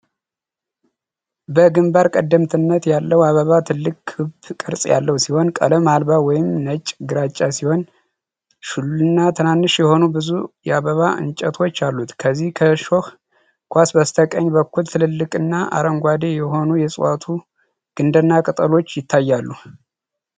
በግንባር ቀደምትነት ያለው አበባ ትልቅ ክብ ቅርጽ ያለው ሲሆን ቀለም አልባ ወይም ነጭ-ግራጫ ሲሆን፥ ሹልና ትናንሽ የሆኑ ብዙ የአበባ እንጨቶች አሉት። ከዚህ ከሾህ ኳስ በስተቀኝ በኩል ትልልቅና አረንጓዴ የሆኑ የእጽዋቱ ግንድና ቅጠሎች ይታያሉ።